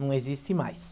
Não existe mais.